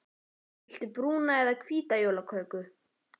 Viltu brúna eða hvíta jólaköku?